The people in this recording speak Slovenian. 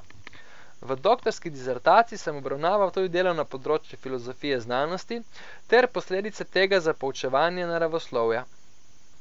V doktorski disertaciji sem obravnaval tudi delo na področju filozofije znanosti ter posledice tega za poučevanje naravoslovja.